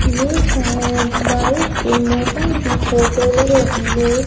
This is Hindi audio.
ये शायद बारिश के मौसम की फोटो लग रही है।